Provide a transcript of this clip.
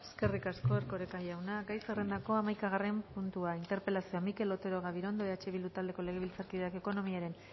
eskerrik asko erkoreka jauna gai zerrendako hamaikagarren puntua interpelazioa mikel otero gabirondo eh bildu taldeko legebiltzarkideak ekonomiaren